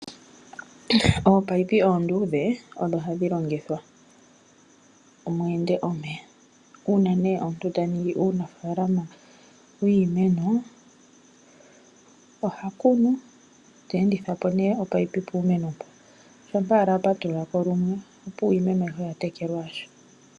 Ominino omiluudhe odho hadhi longithwa mu ende omeya. Unene ngele omuntu ta ningi uunafalama wiimeno oha kunu, ta enditha po omunino puumeno mboka. Shampa owala a patululako lumwe opuwo iimeno ayihe oya tekelwa.